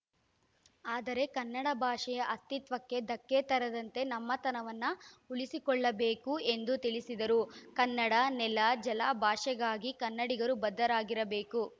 ಆದರೆ ಕನ್ನಡ ಭಾಷೆಯ ಅತ್ತಿತ್ವಕ್ಕೆ ಧಕ್ಕೆ ತರದಂತೆ ನಮ್ಮತನವನ್ನು ಉಳಿಸಿಕೊಳ್ಳಬೇಕು ಎಂದು ತಿಳಿಸಿದರು ಕನ್ನಡ ನೆಲಜಲ ಭಾಷೆಗಾಗಿ ಕನ್ನಡಿಗರು ಬದ್ಧರಾಗಿರಬೇಕು